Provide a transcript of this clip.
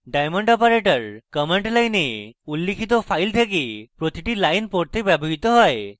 diamond operator command line উল্লিখিত files থেকে প্রতিটি line পড়তে ব্যবহৃত হয়